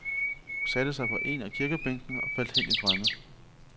Hun satte sig på en af kirkebænkene og faldt hen i drømme.